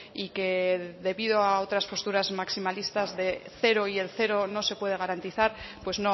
y que debido a otras posturas maximalistas de cero y el cero no se puede garantizar pues